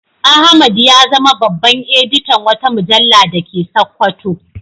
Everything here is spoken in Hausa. Ahmad ya zama babban editan wata mujalla da ke Sakkwato.